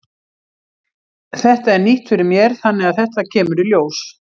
Þetta er nýtt fyrir mér þannig að þetta kemur í ljós.